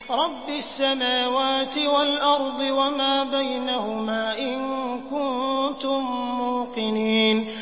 رَبِّ السَّمَاوَاتِ وَالْأَرْضِ وَمَا بَيْنَهُمَا ۖ إِن كُنتُم مُّوقِنِينَ